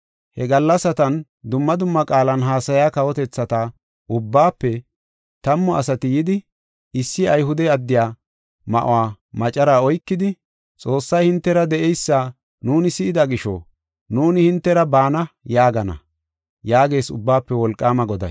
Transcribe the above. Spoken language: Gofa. He gallasatan dumma dumma qaalan haasaya kawotethata ubbaafe tammu asati yidi, issi Ayhude addiya ma7uwa macaraa oykidi, ‘Xoossay hintera de7eysa nuuni si7ida gisho, nuuni hintera baana’ yaagana” yaagees Ubbaafe Wolqaama Goday.